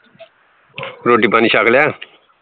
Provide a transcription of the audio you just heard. ਰੋਟੀ-ਪਾਣੀ ਛੱਕ ਲਿਆ